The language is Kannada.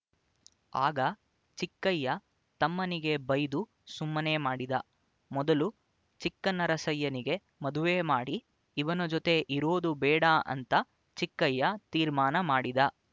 ಆಗ ಚಿಕ್ಕಯ್ಯ ತಮ್ಮನಿಗೆ ಬೈದು ಸುಮ್ಮನೆ ಮಾಡಿದ ಮೊದಲು ಚಿಕ್ಕನರಸಯ್ಯನಿಗೆ ಮದುವೆ ಮಾಡಿ ಇವನ ಜೊತೆ ಇರೋದು ಬೇಡ ಅಂತ ಚಿಕ್ಕಯ್ಯ ತೀರ್ಮಾನ ಮಾಡಿದ